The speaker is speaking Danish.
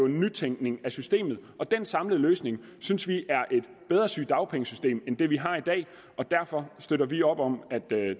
nytænkning af systemet og den samlede løsning synes vi er et bedre sygedagpengesystem end det vi har i dag og derfor støtter vi op om at